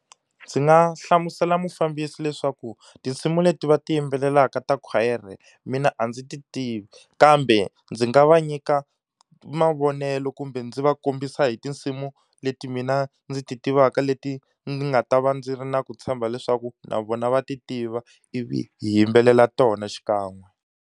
Ndzi nga hlamusela mufambisi leswaku tinsimu leti va ti yimbelelaka ta khwayere mina a ndzi ti tivi, kambe ndzi nga va nyika mavonelo ku kumbe ndzi va kombisa hi tinsimu leti mina ndzi ti tivaka leti ndzi nga ta va ndzi ri na ku tshemba leswaku na vona va ti tiva, ivi hi yimbelela tona xikan'we.